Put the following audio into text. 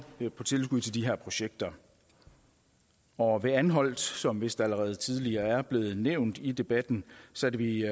på tilskud til de her projekter og ved anholt som vist allerede tidligere er blevet nævnt i debatten satte vi